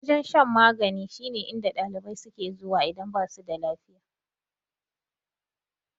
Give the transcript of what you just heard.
Wajen shan magani shine inda ɗalibai suke zuwa idan basu da lafiya.